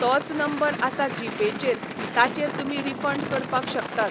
तोच नंबर आसा जीपेचेर ताचेर तुमी रिफंड करपाक शकतात.